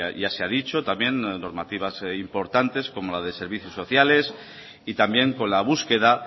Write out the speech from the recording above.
ya se ha dicho también normativas importantes como la de servicios sociales y también con la búsqueda